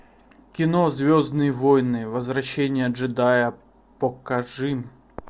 кино звездные войны возвращение джедая покажи